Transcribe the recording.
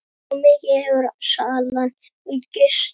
Svo mikið hefur salan aukist.